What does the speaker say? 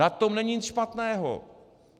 Na tom není nic špatného!